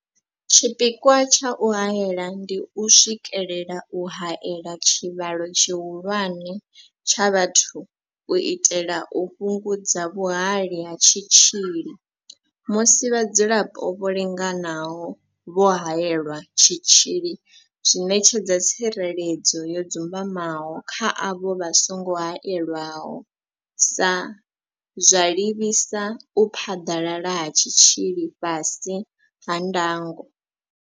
Tshipikwa tsha u haela ndi u swikelela u haela tshivhalo tshihulwane tsha vhathu u itela u fhungudza vhuhali ha tshitzhili musi vhadzulapo vho linganaho vho haelelwa tshitzhili zwi ṋetshedza tsireledzo yo dzumbamaho kha avho vha songo haelwaho, zwa livhisa u phaḓalala ha tshitzhili fhasi ha ndango.